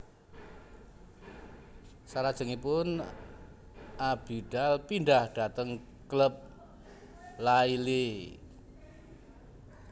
Salajengipun Abidal pindhah dhateng klub Lille